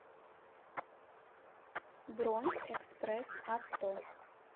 бронь экспресс авто